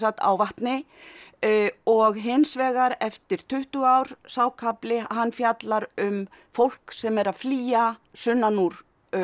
á vatni og hins vegar eftir tuttugu ár sá kafli hann fjallar um fólk sem er að flýja sunnan úr